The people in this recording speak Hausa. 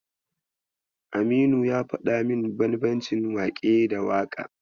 Aminu ya faɗa min bambancin waƙe da waƙa.